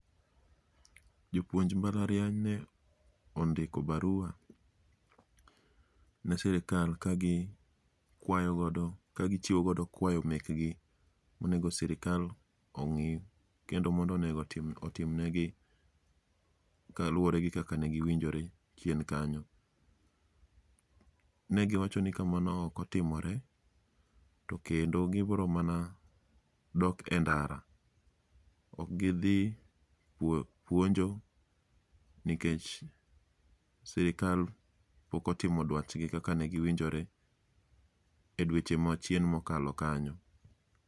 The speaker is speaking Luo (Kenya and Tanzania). Jopuonj mbalariany ne ondiko barua ne sirikal kagi kwayogodo ka gichiwogodo kwayo mekgi, monego sirika ong'i kendo mondo onego otim negi kaluwore gi kaka ne giwijore chien kanyo. Ne giwacho ni ka mano okotimore, to kendo gibro mana dok e ndara, ok gidhi puonjo nikech sirikal pok otimo dwachgi kaka ne giwinjore e dweche machien mokalo kanyo.